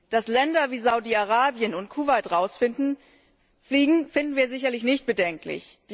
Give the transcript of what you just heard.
Dass Länder wie Saudi Arabien und Kuwait rausfliegen, finden wir sicherlich nicht bedenklich.